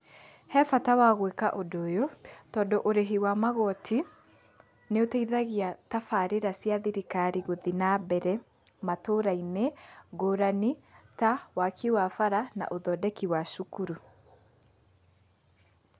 He bata wa gwika ũndũ ũyũ tondũ ũrĩhi wa magoti nĩ ũteithagia tabarĩra cia thirikari gũthiĩ na mbere matũra-inĩ ngũrani ta waki wa bara na ũthondeki wa cukuru.